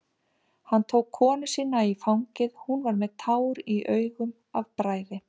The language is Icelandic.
Hann tók konu sína í fangið, hún var með tár í augum af bræði.